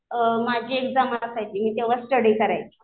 माझी एक्झाम असायची मी तेव्हा स्टडी करायची.